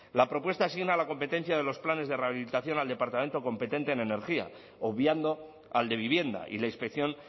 la propuesta asigna a la competencia de los planes de rehabilitación al departamento competente en energía obviando al de vivienda y la inspección